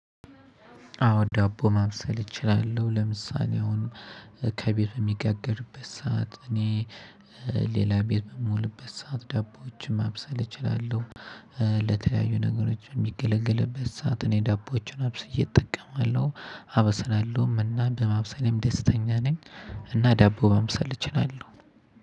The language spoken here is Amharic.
አዎ ዳቦ ማብሰል እችላለሁ። ለምሳሌ አሁን ከቤት ሚጋገርበት ሰዓት እኔ ሌላ ቤት በምውልበት ሰዓት ዳቦዎችን ማብሰል እችላለሁ። ለተለያዩ ነገሮች ሚገለገልበት ሰዓት እኔ ዳቦችን አብስየ እጠቀማለሁ አበስላለሁም እና በማብሰልም ደስተኛ ነኝ። እና ዳቦ ማብሰል እችላለሁ።